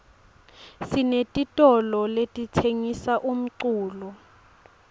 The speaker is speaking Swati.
sinetitolole letitsengisa umculo